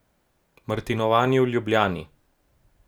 Martinovanje v Ljubljani.